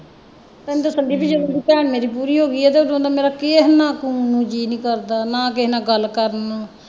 ਤੈਨੂੰ ਦੱਸਣ ਦੇਈ ਜਦੋਂ ਦੀ ਭੈਣ ਮੇਰੀ ਪੂਰੀ ਹੋ ਗਈ ਹੈ ਤੇ ਉਦੋਂ ਦਾ ਮੇਰਾ ਕੀ ਕਿਸੇ ਨਾ ਨੰ ਜੀਅ ਨਹੀਂ ਕਰਦਾ ਨਾ ਕਿਸੇ ਨਾਲ ਗੱਲ ਕਰਨ ਨੂੰ